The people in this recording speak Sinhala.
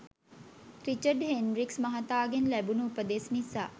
රිචඩ් හෙන්රික්ස් මහතාගෙන් ලැබුණු උපදෙස් නිසා